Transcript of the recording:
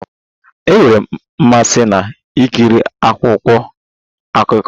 Enwere m mmasị na-ekiri akwụkwọ akụkọ